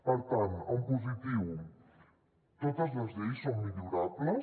per tant en positiu totes les lleis són millorables